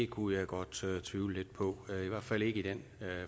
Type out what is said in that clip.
kunne jeg godt tvivle lidt på i hvert fald i den